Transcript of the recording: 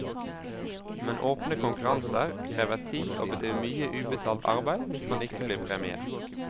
Men åpne konkurranser krever tid og betyr mye ubetalt arbeid hvis man ikke blir premiert.